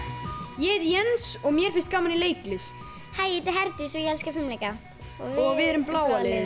ég heiti Jens og mér finnst gaman í leiklist hæ ég heiti Herdís og ég elska fimleika og við erum bláa liðið